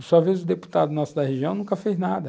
De sua vez, o deputado nosso da região nunca fez nada.